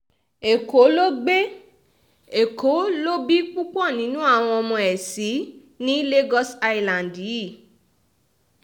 ẹ̀kọ́ ló gbé èkó lọ bí púpọ̀ nínú àwọn ọmọ ẹ̀ sí ní lagos island yìí